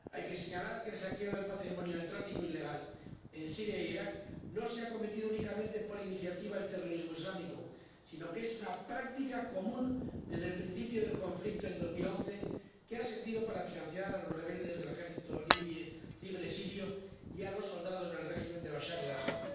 Hay que señalar que el saqueo del patrimonio y el tráfico ilegal en Siria e Irak no se han cometido únicamente por iniciativa del terrorismo islámico, sino que es una práctica común desde el principio del conflicto en 2011 que ha servido para financiar a los rebeldes del Ejército Libre Sirio y a los soldados del régimen de Bachar el Asad.